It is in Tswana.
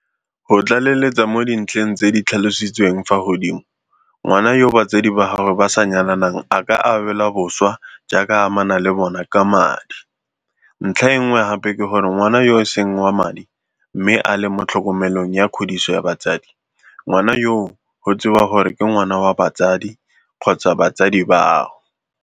Go tlaleletsa mo dintlheng tse di tlhalositsweng fa godimo, ngwana yo batsadi ba gagwe ba sa nyalanang a ka abelwa boswa jaaka a amana le bona ka madi, ntlha e nngwe gape ke gore ngwana yo e seng wa madi mme a le mo tlhokomelong ya kgodiso ya motsadi, ngwana yoo go tsewa gore ke ngwana wa motsadi kgotsa batsadi bao.